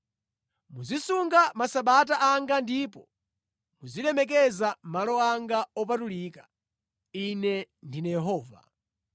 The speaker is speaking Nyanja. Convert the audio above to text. “ ‘Muzisunga Masabata anga ndipo muzilemekeza malo anga opatulika. Ine ndine Yehova.